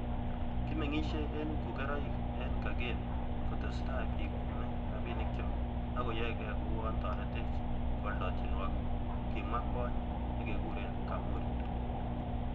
"Kimeng'isie en pkuberoik en Kangemi, kotesetai bik kwome rabinikyok ak koyoege ko uon toretech kooldo tienwogik,"Kimwa kwony nekekuren Kamuri.